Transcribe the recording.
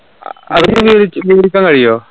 അവര് കൊടുക്കാൻ കയ്യോ